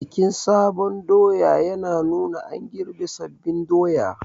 Bikin sabon doya yana nuna an girbe sabbin doya